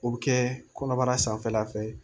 O bɛ kɛ kɔnɔbara sanfɛla fɛ